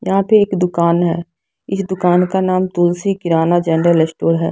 यहाँ पे एक दुकान है इस दुकान का नाम तुलसी किराना जनरल स्टोर है।